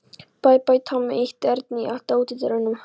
Bæ, bæ, Tommi ýtti Erni í átt að útidyrunum.